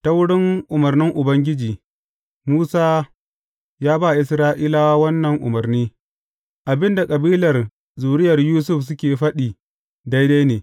Ta wurin umarnin Ubangiji, Musa ya ba Isra’ilawa wannan umarni, Abin da kabilar zuriyar Yusuf suke faɗi, daidai ne.